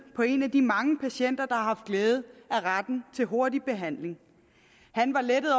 på en af de mange patienter har haft glæde af retten til hurtig behandling han var lettet